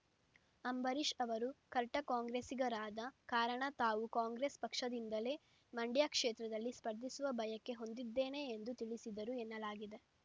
ಅಂಬರೀಶ್‌ ಅವರು ಕಟ್ಟರ್‌ ಕಾಂಗ್ರೆಸ್ಸಿಗರಾದ ಕಾರಣ ತಾವು ಕಾಂಗ್ರೆಸ್‌ ಪಕ್ಷದಿಂದಲೇ ಮಂಡ್ಯ ಕ್ಷೇತ್ರದಲ್ಲಿ ಸ್ಪರ್ಧಿಸುವ ಬಯಕೆ ಹೊಂದಿದ್ದೇನೆ ಎಂದು ತಿಳಿಸಿದರು ಎನ್ನಲಾಗಿದೆ